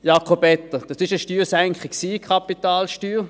Jakob Etter, es war eine Steuersenkung bei der Kapitalsteuer.